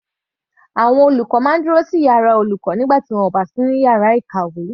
Àwọn olùkọ́ máa ń dúró sí yàrá fún àwọn olùkọ́ nígbà tí wọn kò bá sí nínú yàrá ìkàwé.